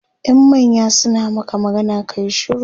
in manya suna Maka magana kayi shiru